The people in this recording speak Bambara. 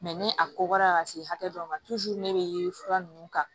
ni a kɔgɔra ka se hakɛ dɔ ma ne bɛ fura ninnu ta